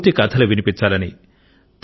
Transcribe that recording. పూర్తి కథలు వినిపించాలని